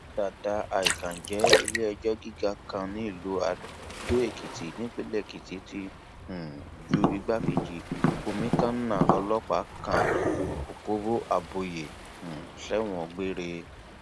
dàdà àìkánjẹ iléẹjọ gíga kan nílùú adóèkìtì nípínlẹ èkìtì ti um ju igbákejì kọmíkànnà ọlọpàá kan ọkọbò abọyé um sẹwọn gbére